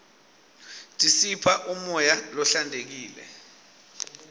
tisipha umoya lohlantekile